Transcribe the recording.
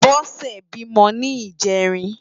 Bose bímò ni ijèrín